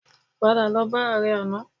Padà lọ bá ààrẹ àná